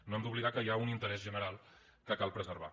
no hem d’oblidar que hi ha un interès general que cal preservar